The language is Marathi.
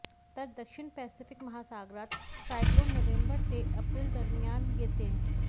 तर दक्षिण पॅसिफिक महासागरात सायक्लोन नोव्हेंबर ते एप्रिलदरम्यान येतं